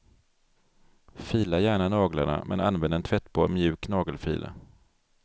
Fila gärna naglarna men använd en tvättbar mjuk nagelfil.